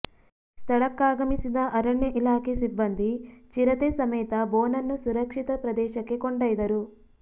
ಸ್ಥಳಕ್ಕಾಗಮಿಸಿದ ಅರಣ್ಯ ಇಲಾಖೆ ಸಿಬ್ಬಂದಿ ಚಿರತೆ ಸಮೇತ ಬೋನನ್ನು ಸುರಕ್ಷಿತ ಪ್ರದೇಶಕ್ಕೆ ಕೊಂಡೊಯ್ದರು